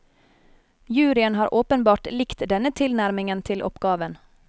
Juryen har åpenbart likt denne tilnærmingen til oppgaven.